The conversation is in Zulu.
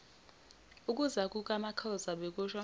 ukuza kukamakhoza bekusho